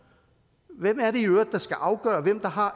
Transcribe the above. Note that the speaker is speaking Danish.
hvem er det i øvrigt der skal afgøre hvem der har